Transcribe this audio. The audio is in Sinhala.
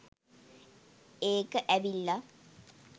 ඒක ඇවිල්ල